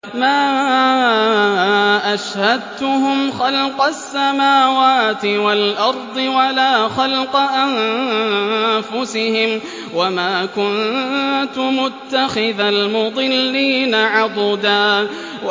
۞ مَّا أَشْهَدتُّهُمْ خَلْقَ السَّمَاوَاتِ وَالْأَرْضِ وَلَا خَلْقَ أَنفُسِهِمْ وَمَا كُنتُ مُتَّخِذَ الْمُضِلِّينَ عَضُدًا